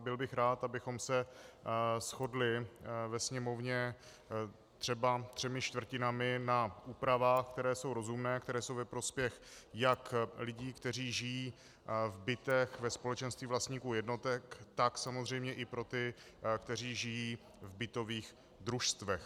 A byl bych rád, kdybychom se shodli ve Sněmovně třeba třemi čtvrtinami na úpravách, které jsou rozumné, které jsou ve prospěch jak lidí, kteří žijí v bytech ve společenství vlastníků jednotek, tak samozřejmě i pro ty, kteří žijí v bytových družstvech.